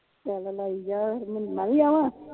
ਚੱਲ ਲਾਈ ਜਾ ਫਿਰ ਮੈ ਵੀ ਆਵਾ